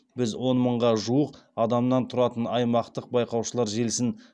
біз он мыңға жуық адамнан тұратын аймақтық байқаушылар желісін